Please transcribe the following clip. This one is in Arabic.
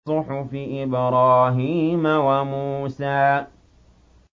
صُحُفِ إِبْرَاهِيمَ وَمُوسَىٰ